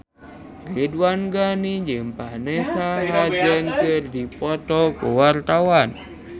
Ridwan Ghani jeung Vanessa Hudgens keur dipoto ku wartawan